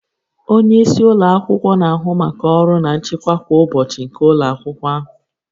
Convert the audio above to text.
Onye isi ụlọ akwụkwọ na-ahụ maka ọrụ na nchịkwa kwa ụbọchị nke ụlọ akwụkwọ ahụ